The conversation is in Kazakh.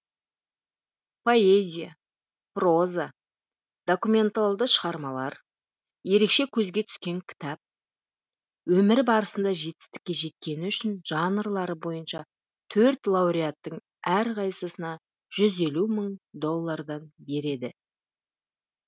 поэзия проза документалды шығармалар ерекше көзге түскен кітап өмір барысында жетістікке жеткені үшін жанрлары бойынша төрт лауреаттың әрқайсысына жүз елу мың доллардан береді